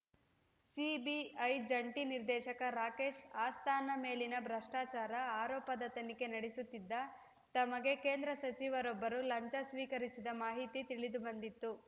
CBI ಜಂಟಿ ನಿರ್ದೇಶಕ ರಾಕೇಶ್‌ ಅಸ್ಥಾನಾ ಮೇಲಿನ ಭ್ರಷ್ಟಾಚಾರ ಆರೋಪದ ತನಿಖೆ ನಡೆಸುತ್ತಿದ್ದ ತಮಗೆ ಕೇಂದ್ರ ಸಚಿವರೊಬ್ಬರು ಲಂಚ ಸ್ವೀಕರಿಸಿದ ಮಾಹಿತಿ ತಿಳಿದುಬಂದಿತ್ತು